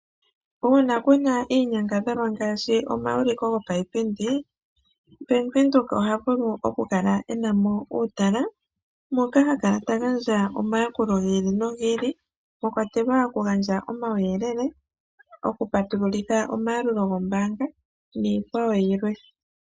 Uuna kuna iinyangadhalwa ngaashi omauliko gopaipindi, Bank Windhoek oha vulu okukala e na mo uutala, moka ha kala ta gandja omayakulo gi ili nogi ili, mwa kwatelwa okugandja omawuyelele, okupatululitha omayalulo gombaanga, nayikwawo yilwe.